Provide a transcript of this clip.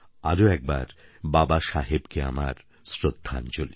আরও একবার বাবাসাহেবকে আমার শ্রদ্ধাঞ্জলি